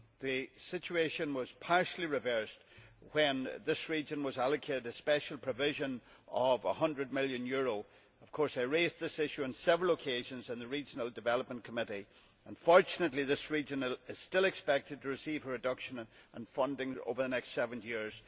The situation was partially reversed when this region was allocated a special provision of EUR 100 million. Of course, I raised this issue on several occasions in the Committee on Regional Development. Unfortunately, this region is still expected to receive a reduction in funding over the next seven years.